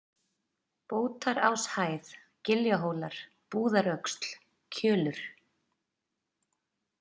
Bótaráshæð, Giljahólar, Búðaröxl, Kjölur